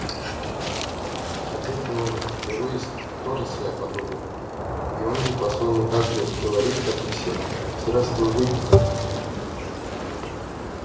отец говорил у него есть тоже своя подруга и он ей по своему также так говорит как и все здравствуй выпиха